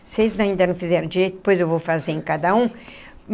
Vocês ainda não fizeram direito, depois eu vou fazer em cada um.